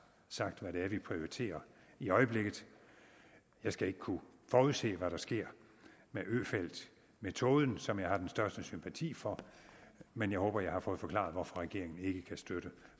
sagt hvad det er vi prioriterer i øjeblikket jeg skal ikke kunne forudse hvad der sker med øfeldtmetoden som jeg har den største sympati for men jeg håber at jeg har fået forklaret hvorfor regeringen ikke kan støtte